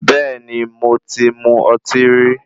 Bẹ́ẹ̀ni, mo ti mu ọtí rí.